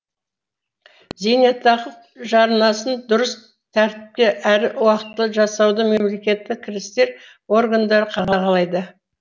зейнетақы жарнасын дұрыс тәртіпте әрі уақтылы жасауды мемлекеттік кірістер органдары қадағалайды